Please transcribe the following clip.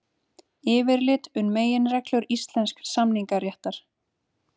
Yfirlit um meginreglur íslensks samningaréttar.